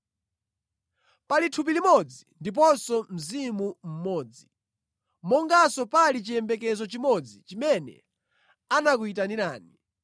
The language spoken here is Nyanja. Pali thupi limodzi ndiponso Mzimu mmodzi, monganso pali chiyembekezo chimodzi chimene anakuyitanirani.